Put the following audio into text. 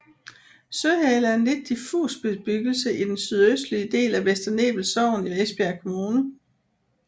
Søhale er en lidt diffus bebyggelse i den sydøstlige del af Vester Nebel Sogn i Esbjerg Kommune